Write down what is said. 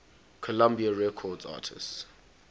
columbia records artists